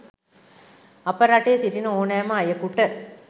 අප රටේ සිටින ඕනෑම අයකුට